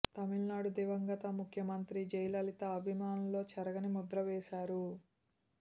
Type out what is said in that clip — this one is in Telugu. తమిళనాడు దివంగత ముఖ్యమంత్రి జయలలిత అభిమానుల్లో చెరగని ముద్ర వేసారు